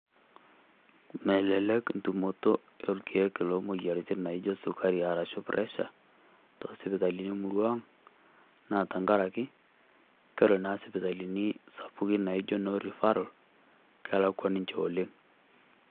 Melelek ntumoto olkiek loo moyiarritin naijo sukari arashu presha too sipitalini murrua ang'. Naa tang'araki kore naa sipitalini sapukin naijo noo rifaral keakwa ninchee oleng.